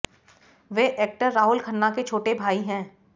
वे actor Rahul Khanna के छोटे भाई हैं